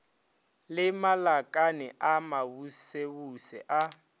le malakane a mabusebuse a